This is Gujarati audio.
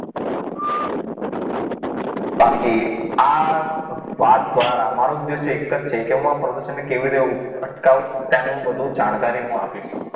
બાકી આ વાત દ્વારા મારો ઉદ્દેશ એક જ છે કે હું આ પ્રદૂષણને કેવી રીતે અટકાવવું એની જાણકારી હું આપીશ